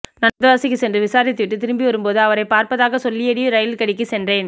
நான் வந்தவாசிக்கு சென்று விசாரித்துவிட்டு திரும்பிவரும் போது அவரை பார்ப்பதாக சொல்லியடி ரயில்கெடிக்கு சென்றேன்